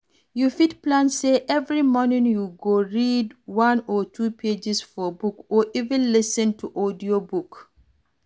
You fit plan sey every morning you go read one or two pages for book or even lis ten to audiobook